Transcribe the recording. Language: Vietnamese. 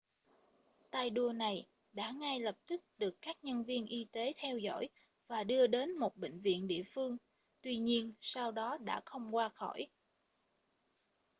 tay đua này đã ngay lập tức được các nhân viên y tế theo dõi và đưa đến một bệnh viện địa phương tuy nhiên sau đó đã không qua khỏi